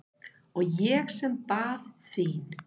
Og ég sem bað þín!